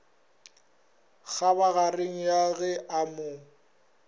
kgabagareng ya ge a mo